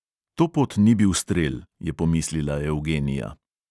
To pot ni bil strel, je pomislila eugenia.